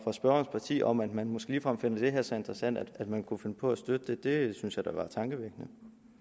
parti om at man måske ligefrem finder det her så interessant at man kunne finde på at støtte det det synes jeg da er tankevækkende